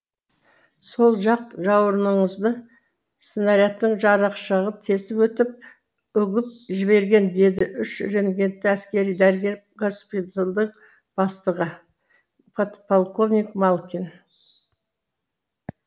сол жақ жауырыныңызды снарядтың жарықшағы тесіп өтіп үгіп жіберген деді үш рангтегі әскери дәрігер госпиталдың бастығы подполковник малкин